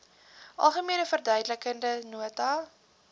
algemene verduidelikende nota